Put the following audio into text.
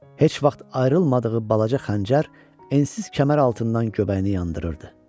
Heç vaxt ayrılmadığı balaca xəncər ensiz kəmər altından göbəyini yandırırdı.